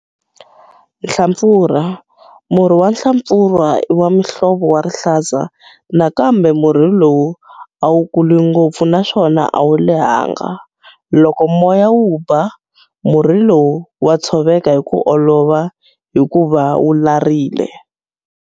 Nhlampfurha Murhi wa nhlampfurha i wa muhlovo wa rihlaza nakambe murhi lowu a wu kuli ngopfu naswona a wu lehanga. Loko moya wu ba, murhi lowu wa tshoveka hi ku olova hikuva wu larile.